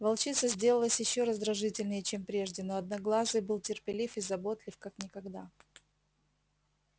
волчица сделалась ещё раздражительнее чем прежде но одноглазый был терпелив и заботлив как никогда